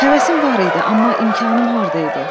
Həvəsim var idi, amma imkanım harda idi?